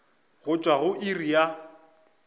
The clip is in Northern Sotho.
go tšwa go iri ya